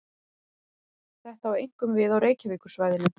Þetta á einkum við á Reykjavíkursvæðinu.